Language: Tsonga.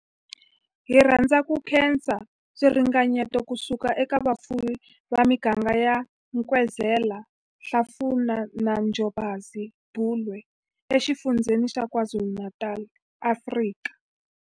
Hi rhandza ku khensa swiringanyeto ku suka eka vafuwi va miganga ya Nkwezela, Hlafuna na Njobokazi, Bulwer, eXifundzheni xa KwaZulu-Natal, Afrika.